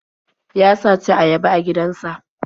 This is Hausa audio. Ya saci ayaba a gidansa.